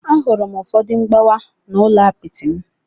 Ahụrụ m ụfọdụ mgbawa n'ụlọ apịtị m.